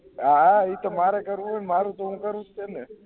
હા હા એ તો મારે કરવુ હે મારુ જોવુ પડસે ને